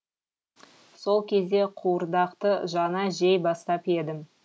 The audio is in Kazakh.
сол кезде қуырдақты жаңа жей бастап едім